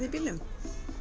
í bílnum